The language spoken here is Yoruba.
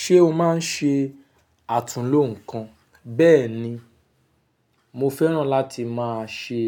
Ṣé o máa ń ṣe àtunló nǹkan? Bẹ́ẹ̀ni, mo fẹ́ràn láti máa ṣe